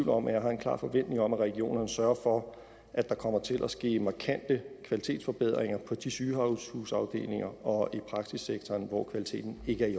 om at jeg har en klar forventning om at regionerne sørger for at der kommer til at ske markante kvalitetsforbedringer på de sygehusafdelinger og i praksissektoren hvor kvaliteten ikke